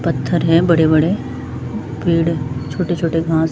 पत्थर है बड़े बड़े पेड़ छोटे छोटे घास--